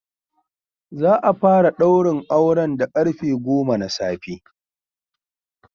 Za a fara ɗaurin auren da karfe goma na safe.